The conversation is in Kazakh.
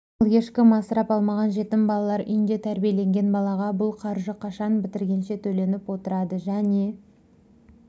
ал ешкім асырап алмаған жетім балалар үйінде тәрбиеленген балаға бұл қаржы қашан бітіргенше төленіп отырады және